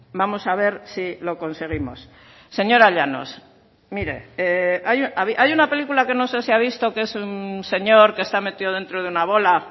vamos a ver si lo conseguimos señora llanos mire hay una película que no sé si ha visto que es un señor que está metido dentro de una bola